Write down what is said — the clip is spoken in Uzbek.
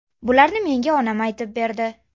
Bularni menga onam aytib berdi.